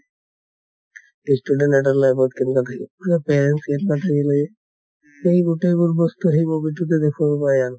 student এটাৰ life ত কেনেকুৱা থাকে ing parents এই গোটেইবোৰ বস্তু সেই movie টোতে দেখোৱাব পায় আৰু